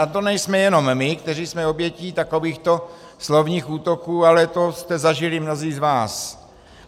A to nejsme jenom my, kteří jsme obětí takovýchto slovních útoků, ale to jste zažili mnozí z vás.